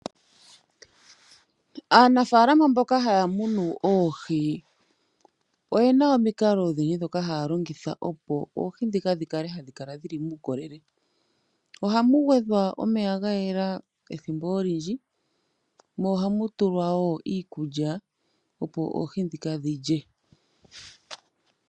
Aanafalama mboka haya munu oohi oyena omikalo odhindji dhoka haya longitha opo oohi dhika dhikale hadhi kala dhili muukolele ohamu gwedhwa omeya gayela ethimbo olindji mo ohamu tulwa iikulya opo oohi dhika dhilye.